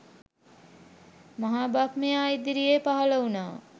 මහ බ්‍රහ්මයා ඉදිරියේ පහළ වුණා.